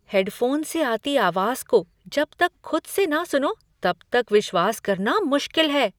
Headphone से आती आवाज़ को जब तक खुद से न सुनो तब तक विश्वास करना मुश्किल है।